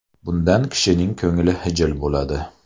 Bundan kishining ko‘ngli xijil bo‘ladi.